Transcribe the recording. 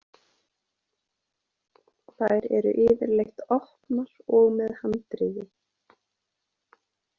Þær eru yfirleitt opnar og með handriði.